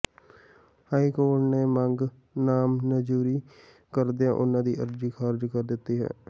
high court ਨੇ ਮੰਗ ਨਾਮਨਜ਼ੂਰੀ ਕਰਦਿਆਂ ਉਨ੍ਹਾਂ ਦੀ ਅਰਜ਼ੀ ਖਾਰਜ ਕਰ ਦਿਤੀ ਹੈ